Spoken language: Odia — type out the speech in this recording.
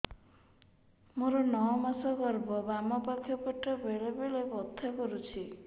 ମୋର ନଅ ମାସ ଗର୍ଭ ବାମ ପାଖ ପେଟ ବେଳେ ବେଳେ ବଥା କରୁଛି